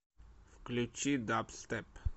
включи дабстеп